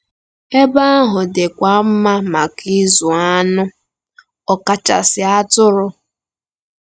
Ebe ahụ dịkwa mma maka ịzụ anụ, ọkachasị atụrụ.